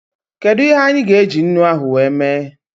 Kedụ ihe anyị gá eji ńnú ahụ wee mee?